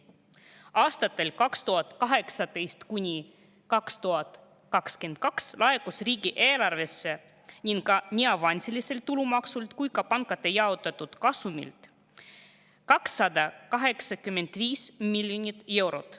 Aastatel 2018–2022 laekus riigieelarvesse nii avansiliselt tulumaksult kui ka pankade jaotatud kasumilt 285 miljonit eurot.